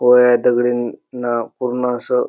व्हय दगडीनि ना पूर्ण अस--